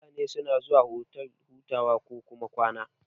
Mutane suna zuwa otal hutawa kokuma kwana.